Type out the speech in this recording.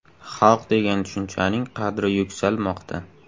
Xalq degan tushunchaning qadri yuksalmoqda.